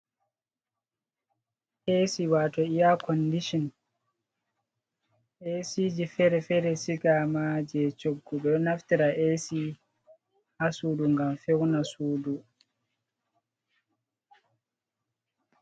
Esi wato iya konɗison. Esiji fere_fere sigama je coggu. Ɓe naftira esi ha suɗu ngam feuna suɗu.